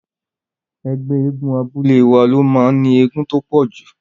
Ẹgbẹ́ eégún abúlé wa ló máa ní eégún tó pọ̀jù.